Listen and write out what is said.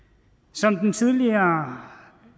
som den tidligere